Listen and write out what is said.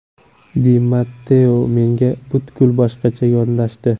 Di Matteo menga butkul boshqacha yondashdi.